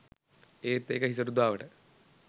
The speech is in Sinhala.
ඒත් එක හිසරුදාවට